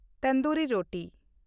tandoori ᱨᱳᱴᱤ